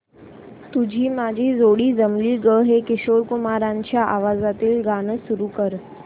तुझी माझी जोडी जमली गं हे किशोर कुमारांच्या आवाजातील गाणं सुरू कर